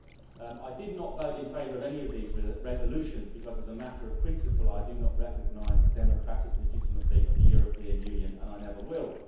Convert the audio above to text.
Mr President, I did not vote in favour of any of these resolutions because, as a matter of principle, I do not recognise the democratic legitimacy of the European Union, and I never will.